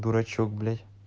дурачок блядь